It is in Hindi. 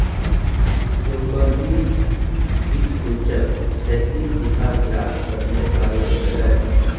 चुंबकीय दिक्सूचक क्षैतिज दिशा ज्ञात करने का यंत्र है